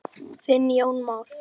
Þinn Jón Már.